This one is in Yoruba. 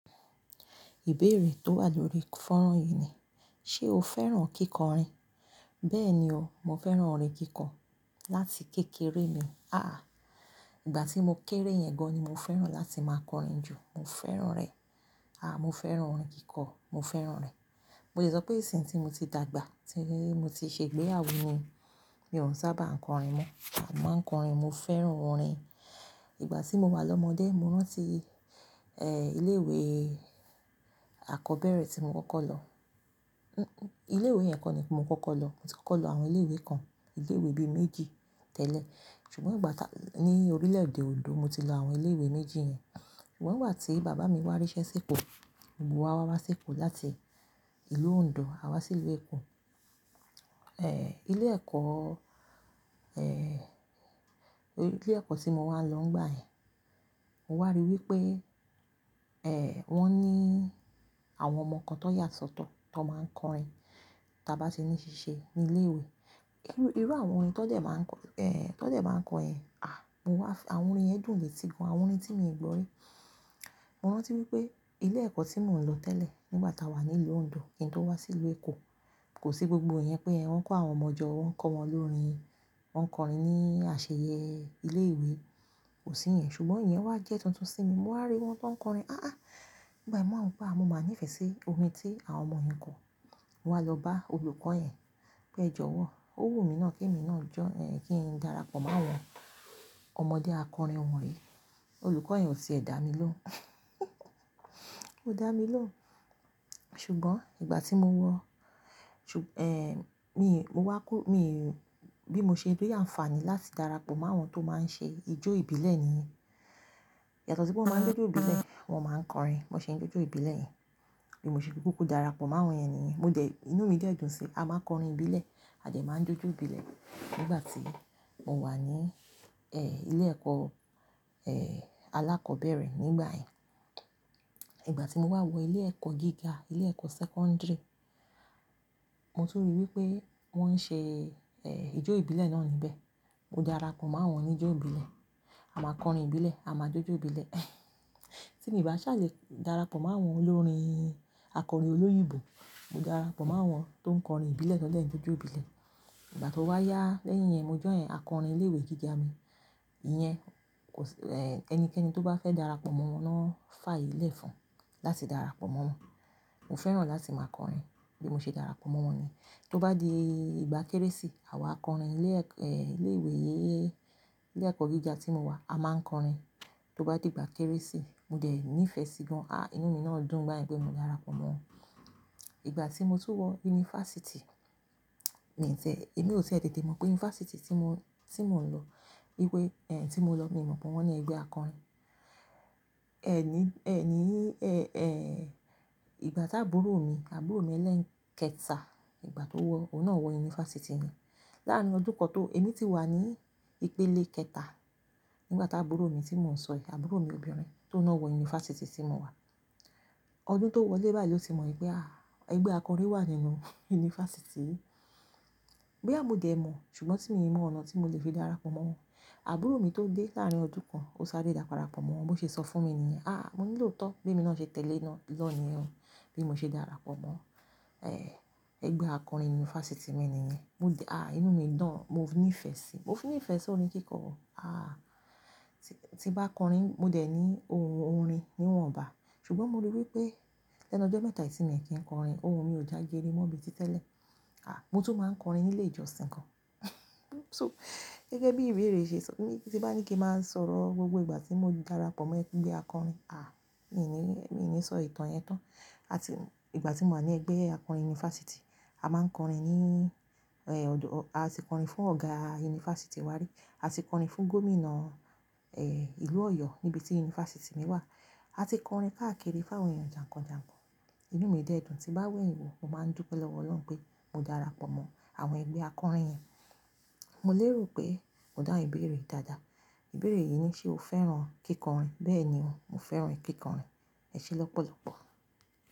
Ìbéèrè tó wà lórí fọ́nrán yìí ni, ṣe o fẹ́ràn kíkọrin? Bẹ́ẹ̀ni o, mo fẹ́ràn orin kíkọ láti kékeré mi. Àáà. Ìgbà tí mo kéré yẹn gan ni mo fẹ́ràn láti máa kọrin jù. Mo fẹ́ràn rẹ̀. A, mo fẹ́ràn orin kíkọ. Mo fẹ́ràn rẹ̀. Mo lè sọ pé ìsìn tí mo ti dàgbà, tí mo ti ṣe ìgbéyàwó ni, mi ò n sábà ń kọrin mọ. A máa ń kọrin, mo fẹ́ràn orin. Ìgbà tí mo wà lọ́mọdé, mo rántí, eh, ilé ìwé àkọ́bẹ́rẹ́ tí mo kọ́kọ́ lọ. Ilé ìwé yẹn kọ́ ni mo kọ́kọ́ lọ. Mo ti kọ́kọ́ lọ àwọn ilé ìwé kan, ilé ìwé bíi méjì tẹ́lẹ̀. Ṣùgbọ́n ìgbà tá-- ní orílẹ̀ èdè Ondo mo ti lọ àwọn ilé ìwé méjì yẹn. Ṣùgbọ́n ngba tí bàbá mi wá ríṣẹ́ sí Èkó. Gbogbo wa wá wá sí Èkó láti ìlú Ondo, a wá sí ìlú Èkó. Ilé ẹ̀kọ́, eh, ilé ẹ̀kọ́ tí mo ma n lọ ńgbà yẹn, mo wà ríi wípé, wón ní àwọn ọmọ kan tán yà sọ́tọ̀ tán máa ń kọrin tí a bá ti ní ṣíṣe ní ilé ìwé. Irú àwọn orin tán dẹ̀ máa ń kọ, tó dẹ̀ máa ń kọ yẹn. Ah! Mo wá f-- àwọn orin yẹn dùn ní etí, àwọn orin tí mi ì gbọ́ rí. Mo rántí wípé ilé ẹ̀kọ́ tí mò ń lọ tẹ́lẹ̀ nígbà tá wà ní ìlú Ondo kí n tó wá sí ìlú Èkó, kò sí gbogbo yẹn pé wọn ń ko àwọn ọmọ jọ, wọn ń kọ́ wọn lórin, wọ́n ń kọrin ní àsẹ̀yẹ ilé ìwé, kò sí iyẹn. Ṣùgbọ́n ìyẹn wá jẹ́ tuntun sí mi. Mo wà ri wọ́n tó ń kọrin. Áá. Ìgbà mo máa ń pa, mo máa nífẹ̀ẹ́ sí orin tí àwọn ọmọ yẹn ń kọ. Mo wá lọ bá olùkọ́ yẹn pé ẹ jọ̀wọ́. Ó wù mí náà kí mi náà jọ́, eh, kí n darapọ̀ mọ́ àwọn ọmọdé akọrin wọ̀nyí. Olùkọ́ yẹn ò ti ẹ dá mi lóhùn. Ó dá mi ló. Ṣùgbọ́n ìgbà tí mo wọ, mo wá kú, mi, bí mo ṣe rí àǹfààní láti darapọ̀ mọ́ àwọn tó máa ń ṣe ijó ìbílẹ̀ nìyẹn. Yàtọ̀ sí pé wọ́n máa ń jójó ìbílẹ̀, wọ́n máa ń kọrin. Mo ṣe n ijó ìbílẹ̀ yẹn, bí mo ṣe kúkú darapọ̀ mọ́ àwọn yẹn nìyẹn. Mo dẹ̀, inú mi dẹ́ dùn sí i. A máa ń kọrin ìbílẹ̀, a dẹ máa ń jójó ìbílẹ̀ nígbà tí mo wà ní, eh, ilé ẹ̀kọ́, eh, alákọ̀ọ́bẹ̀rẹ̀ nígbà yẹn. Ìgbà tí mo wá wọ ilé ẹ̀kọ́ gíga, ilé ẹ̀kọ́ sẹ́kọ́ńdìrì, mo tún ríi wípé wọ́n ń ṣe, eh, ijó ìbílẹ̀ náà níbẹ̀. Mo darapọ̀ mo awọn oní ijó ìbílẹ̀. A máa kọrin ìbílẹ̀, a máa jójó ìbílẹ̀. Tí mi báṣẹ̀ lè darapọ̀ mọ́ àwọn olórin akọrin olóyìnbó. Mo darapọ̀ mọ́ àwọn tó ń kọrin ìbílẹ̀, tan dẹ́ ń jójó ìbílẹ̀. Ìgbà tó wá yá lẹ́yìn yẹn, mo join akọrin ilé ìwé gíga mi. Iyẹn kò sí, eh, ẹnikẹ́ni tó bá fẹ́ darapọ̀ mọ́ wọn náà fàyè iẹ̀ fún láti darapọ̀ mọ́ wọn. Mo fẹ́ràn láti máa kọrin, bí mo ṣe darapọ̀ mọ́ wọn ni. Tó bá di ìgbà Kérésì, àwa akọrin ilé ẹ̀kọ́, eh, ilé ìwé, ilé ẹ̀kọ́ gíga tí mo wà, a máa ń kọrin tó bá di ìgbà Kérésì. Mo dẹ ní ìfẹ́ sí i gan. Ah! Inú mi náà dùn n gbà yẹn pé mo darapọ̀ mọ́ wọn. Ìgbà tí mo tún wọ yunifásítì, mi tẹ́, èmi ò tìẹ tètè mọ̀ pé yunifásítì tí mo, tí mò ń lọ, wípé, eh, tí mo lọ mi mọ̀ pé wón ní ẹgbẹ́ akọrin. Ẹ̀ ní, ẹ̀ ní, eh, eh, ìgbà táburo mi, àbúrò mi ẹlẹ́ẹ̀kẹta ìgbà tó wọ, òun náà wọ yunifásítì mi. Láàárín ọdún kan tó, èmi ti wà ní ìpele kẹta nígbà tá àbúrò mi tí mò ń sọ yìí, àbúrò mi obìnrin tòun náà wọ yunifásítì tí mo wà. Ọdún tó wọlé báyìí ló ti mọ̀ wípé, ah, ẹgbẹ́ akọrin wà nínú yunifásítì. Bóyá mo dẹ mọ̀, ṣùgbọ́n tí mi i mọ ọ̀nà tí mo lè fi darapọ̀ mọ́ wọn. Àbúrò mi tó dé láàárín ọdún kan, ó sáré darapọ̀ mọ́ wọn, bó ṣe sọ fún mi nìyẹn. Ah! Mo ní lootọ bí èmi náà ṣe tẹ̀lé ná, lọ nìyẹn o, bí mo ṣe darapọ̀ mọ́, eh, ẹgbẹ́ akọrin yunifásítì mi nìyẹn. Mo dẹ, ah, inú mi dùn, mo ní ìfẹ́ sí i. Mo fún ní ìfẹ́ sí orin kíkọ o. Ah! Ti bá kọrin, mo dẹ̀ ní ohun orin níwọ̀nba. Ṣùgbọ́n mo ríi wípé lẹ́nu ọjọ́ mẹ́ta yìí ti mi kí ń kọrin, ohun mi ò já geere mọ́ bíi ti tẹ́lẹ̀. Ah! Mo tún máa ń kọrin nílé ìjọsìn kan. So gẹ́gẹ́ bí ìbéèrè ṣe sọ, tí bá ní kí n má sọ̀rọ̀ gbogbo ìgbà tí mo darapọ̀ mọ́ ẹgbẹ́ akọrin, ah, mi ní, mi ní sọ ìtàn yẹn tán. A ti, ìgbà tí mo wà ní ẹgbẹ́ akọrin yunifásítì, a máa ń kọrin ní, eh, ọdún-- a ti kọrin fún ọ̀gá yunifásítì wa rí, a ti kọrin fún gómìnà, eh, ìlú Ọ̀yọ́ níbi tí yunifásítì mi wà. A ti kọrin káàkiri fún àwọn ènìyàn jànkànjànkàn. Inú mi dẹ́ dùn. Ti bá wẹ̀yin wò, mo máa ń dúpẹ lọ́wọ́ Ọlọ́run pé mo darapọ̀ mọ́ àwọn ẹgbẹ́ akọrin yẹn. Mo lérò pé mo dáhùn ìbéèrè dáadáa. Ìbéèrè yìí ni ṣe o fẹ́ràn kíkọrin? Bẹ́ẹ̀ni o, mo fẹ́ràn kíkọrin. Ẹ ṣe lọ́pọ̀lọ́pọ̀.